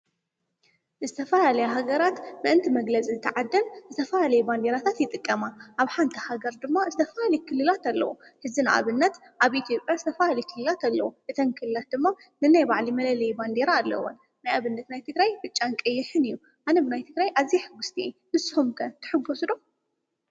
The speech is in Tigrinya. ዝተፈላለያ ሃገራት ምእንቲ መግለፂ እታ ዓደን ዝተፈላለየ ባንዴራታት ይጥቀማ፡፡ ኣብ ሓንቲ ሃገር ድማ ዝተፈላለየ ክልላት ኣለዉ፡፡ ሕዚ ንኣብነት ኣብ ኢትዮጵያ ዝተፈላለየ ክልላት ኣለዉ፡፡ እተን ክልላት ድማ ነናይ ባዕለን መለለዪ ባንዴራ ኣለወን፡፡ ንኣብነት ናይ ትግራይ ብጫን ቀይሕን እዩ፡፡ ኣነ ብናይ ትግራይ ኣዝየ ሕጒስቲ እየ፡፡ ንስኹም ከ ትሕጐሱ ዶ?